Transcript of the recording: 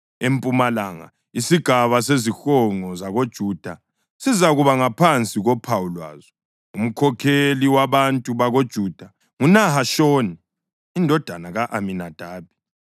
Empumalanga, isigaba sezihonqo zakoJuda sizakuba ngaphansi kophawu lwazo. Umkhokheli wabantu bakoJuda nguNahashoni indodana ka-Aminadabi.